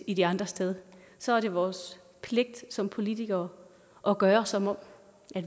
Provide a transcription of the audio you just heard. i de andres sted så er det vores pligt som politikere at gøre som om